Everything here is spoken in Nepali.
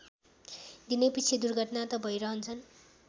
दिनैपिच्छे दुर्घटना त भैरहन्छन्